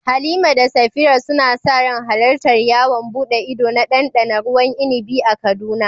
Halima da Safira suna sa ran halartar yawon buɗe ido na ɗanɗana ruwan inibi a Kaduna.